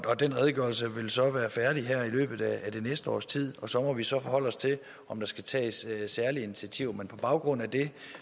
og den redegørelse vil så være færdig her i løbet af det næste års tid og så må vi så forholde os til om der skal tages særlige initiativer men på baggrund af det